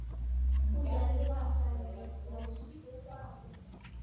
Hún gerði það sagði rödd Rósu skýrt að baki honum.